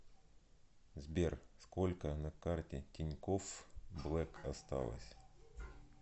сбер сколько на карте тинькофф блэк осталось